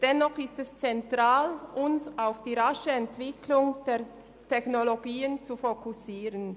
Dennoch ist es zentral, uns auf die rasche Entwicklung dieser Technologien zu fokussieren.